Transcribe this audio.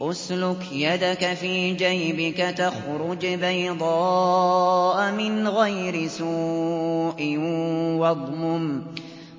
اسْلُكْ يَدَكَ فِي جَيْبِكَ تَخْرُجْ بَيْضَاءَ مِنْ غَيْرِ سُوءٍ